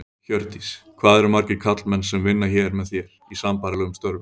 Hjördís: Hvað eru margir karlmenn sem vinna hér með þér, í sambærilegum störfum?